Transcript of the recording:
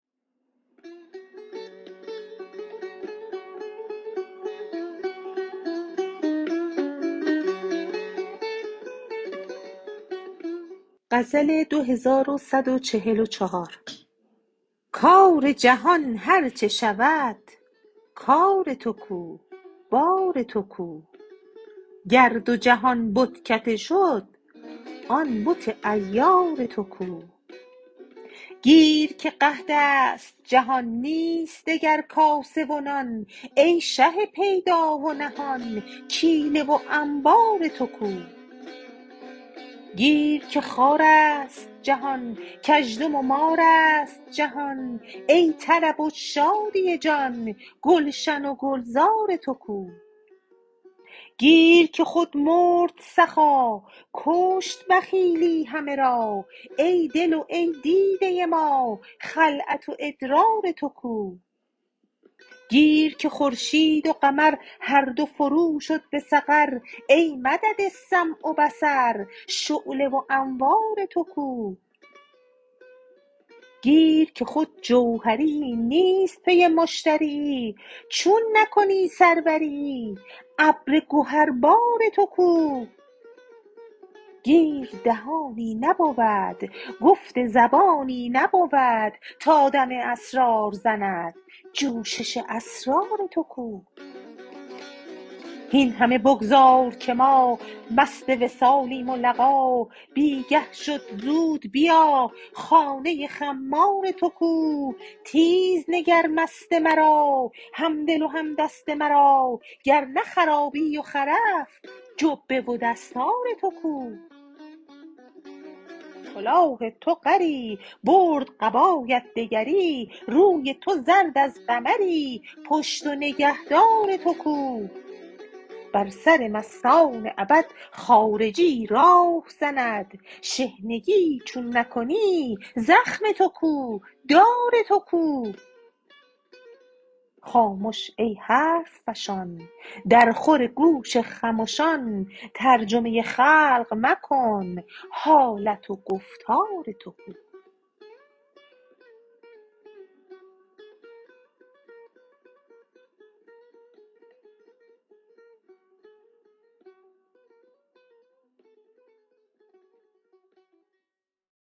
کار جهان هر چه شود کار تو کو بار تو کو گر دو جهان بتکده شد آن بت عیار تو کو گیر که قحط است جهان نیست دگر کاسه و نان ای شه پیدا و نهان کیله و انبار تو کو گیر که خار است جهان گزدم و مار است جهان ای طرب و شادی جان گلشن و گلزار تو کو گیر که خود مرد سخا کشت بخیلی همه را ای دل و ای دیده ما خلعت و ادرار تو کو گیر که خورشید و قمر هر دو فروشد به سقر ای مدد سمع و بصر شعله و انوار تو کو گیر که خود جوهریی نیست پی مشتریی چون نکنی سروریی ابر گهربار تو کو گیر دهانی نبود گفت زبانی نبود تا دم اسرار زند جوشش اسرار تو کو هین همه بگذار که ما مست وصالیم و لقا بی گه شد زود بیا خانه خمار تو کو تیز نگر مست مرا همدل و هم دست مرا گر نه خرابی و خرف جبه و دستار تو کو برد کلاه تو غری برد قبایت دگری روی تو زرد از قمری پشت و نگهدار تو کو بر سر مستان ابد خارجیی راه زند شحنگیی چون نکنی زخم تو کو دار تو کو خامش ای حرف فشان درخور گوش خمشان ترجمه خلق مکن حالت و گفتار تو کو